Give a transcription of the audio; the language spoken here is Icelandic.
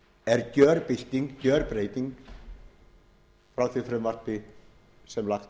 er gjörbylting gjörbreyting frá því frumvarpi sem lagt